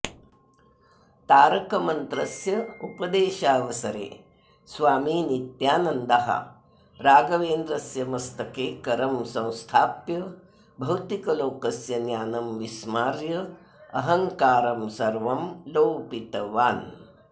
तारकमन्त्रस्य उपदेशावसरे स्वामी नित्यानन्दः रागवेन्द्रस्य मस्तके करं संस्थाप्य भौतिकलोकस्य ज्ञानं विस्मार्य अहङ्कारं सर्वं लोपितवान्